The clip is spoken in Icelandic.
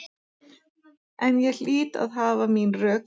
En ég hlýt að hafa mín rök.